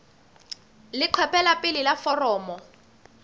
leqephe la pele la foromo